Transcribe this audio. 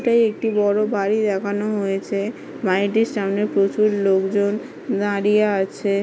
এটাই একটি বড়ো বাড়ির দেখানো হয়েছে। বাড়িটির সামনে প্রচুর লোকজন দাঁড়িয়ে আছে ।